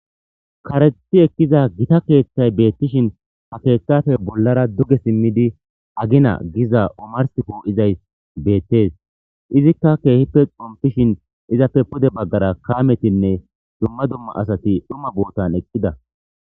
Karexi ekiza gitta keththay betishshin ha keththappe bollara duge simmidi agina gizayiss omarssi po'izayss bettes izikka kehippe bettishen izappe pude bagara kammetinne dumma dumma asati dhuma boottan eqida